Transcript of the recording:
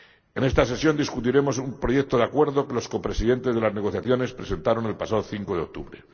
En esta sesión discutiremos un proyecto de acuerdo que los copresidentes de las negociaciones presentaron el pasado 5 de octubre.